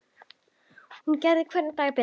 Hún gerði hvern dag betri.